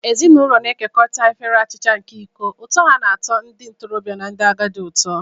Ezinụlọ na-ekekọrịta efere achicha nke iko, ụtọ ha na-atọ ndị ntorobịa na ndị agadi ụtọ.